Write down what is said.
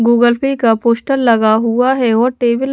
Google Pay का poster लगा हुआ है और टेबल --